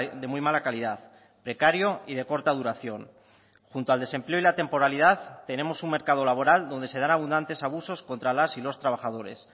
de muy mala calidad precario y de corta duración junto al desempleo y la temporalidad tenemos un mercado laboral donde se dan abundantes abusos contra las y los trabajadores